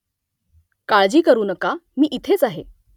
काळजी करू नका . मी इथेच आहे